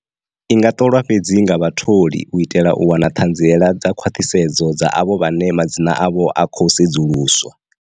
I nga ṱolwa fhedzi nga vhatholi u itela u wana ṱhanziela dza khwaṱhisedzo dza avho vhane madzina avho a khou sedzuluswa.